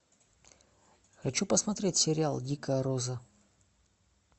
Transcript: хочу посмотреть сериал дикая роза